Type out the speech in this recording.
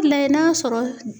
Layɛ n'a sɔrɔ